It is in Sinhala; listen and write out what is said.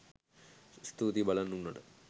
ස්තූතියි බලන් උන්නට